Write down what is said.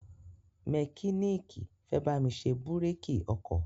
mẹkíníìkì fẹ́ bámi ṣe búrékì ọkọ̀